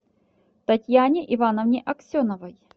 татьяне ивановне аксеновой